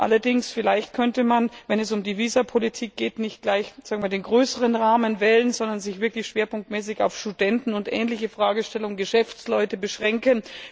Allerdings könnte man vielleicht, wenn es um die Visapolitik geht, nicht gleich den größeren Rahmen wählen, sondern sich wirklich schwerpunktmäßig auf Studenten und ähnliche Fragestellungen, Geschäftsleute, beschränken.